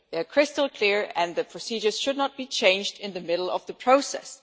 They are crystal clear and the procedures should not be changed in the middle of the process.